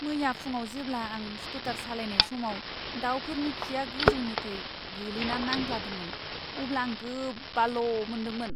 मैया फुंआव जेब्ला आं स्कुटार सालायनाय समाव दाउफोरनि खिआ गोजौनिफ्राय गोलैना नांद्लादोंमोन, अब्ला आं गोबाल' मोनदोंमोन।